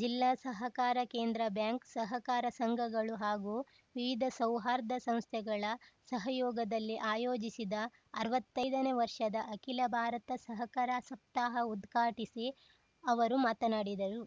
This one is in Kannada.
ಜಿಲ್ಲಾ ಸಹಕಾರ ಕೇಂದ್ರ ಬ್ಯಾಂಕ್‌ ಸಹಕಾರ ಸಂಘಗಳು ಹಾಗೂ ವಿವಿಧ ಸೌಹಾರ್ಧ ಸಂಸ್ಥೆಗಳ ಸಹಯೋಗದಲ್ಲಿ ಆಯೋಜಿಸಿದ ಅರ್ವತ್ತೈದನೇ ವರ್ಷದ ಅಖಿಲ ಭಾರತ ಸಹಕಾರ ಸಪ್ತಾಹ ಉದ್ಘಾಟಿಸಿ ಅವರು ಮಾತನಾಡಿದರು